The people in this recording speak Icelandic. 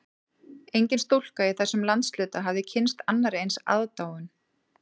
Engin stúlka í þessum landshluta hafði kynnst annarri eins aðdáun